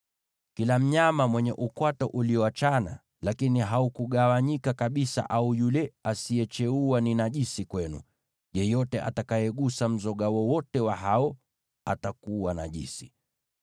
“ ‘Kila mnyama mwenye ukwato ulioachana lakini haukugawanyika kabisa, au yule asiyecheua, huyo ni najisi kwenu; yeyote agusaye mzoga wowote wa hao atakuwa najisi.